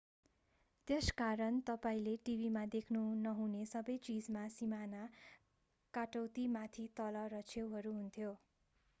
त्यसकारण तपाईंले टिभीमा देख्नुहुने सबै चीजमा सीमाना काटौती माथि तल र छेउहरू हुन्थ्यो